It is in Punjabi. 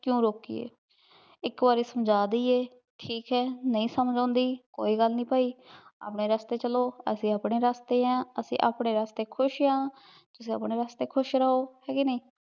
ਕ੍ਯੂ ਰੋਕਿਯਾਯ ਏਇਕ ਵਾਰੀ ਸਮਝਾ ਦਿਯੇ ਠੀਕ ਆਯ ਨਹੀ ਸਮਝ ਆਉਂਦੀ ਕੋਈ ਗਲ ਨਾਈ ਪੈ ਅਪਨੇ ਰਸਤੇ ਚਲੋ ਅਸੀਂ ਅਪਨੇ ਰਸਤੇ ਆਂ ਅਸੀਂ ਅਪਨੇ ਰਸਤੇ ਖੁਸ਼ ਆਂ ਤੁਸੀਂ ਅਪਨੇ ਰਸਤੇ ਖੁਸ਼ ਰਹੋ ਠੀਕ ਆਯ ਕੇ ਨਾਈ